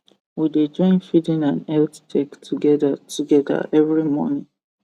we dey join feeding and health check together together every morning